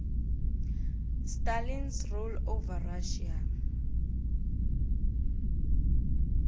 stalins rule over russia